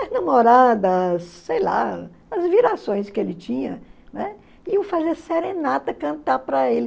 As namoradas, sei lá, as virações que ele tinha, né, iam fazer serenata, cantar para ele.